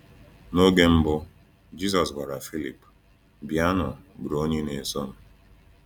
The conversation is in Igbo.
N’oge mbụ, Jisọs gwara Filip: “Bịanụ bụrụ onye na-eso m.”